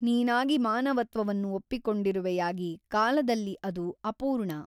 ನೀನಾಗಿ ಮಾನವತ್ವವನ್ನು ಒಪ್ಪಿಕೊಂಡಿರುವೆಯಾಗಿ ಕಾಲದಲ್ಲಿ ಅದು ಅಪೂರ್ಣ.